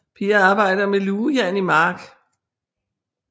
Piger arbejder med lugejern i mark